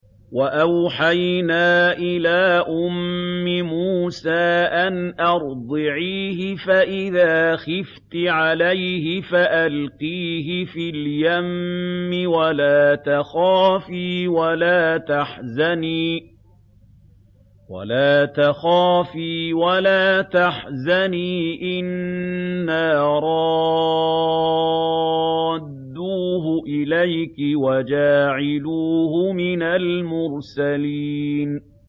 وَأَوْحَيْنَا إِلَىٰ أُمِّ مُوسَىٰ أَنْ أَرْضِعِيهِ ۖ فَإِذَا خِفْتِ عَلَيْهِ فَأَلْقِيهِ فِي الْيَمِّ وَلَا تَخَافِي وَلَا تَحْزَنِي ۖ إِنَّا رَادُّوهُ إِلَيْكِ وَجَاعِلُوهُ مِنَ الْمُرْسَلِينَ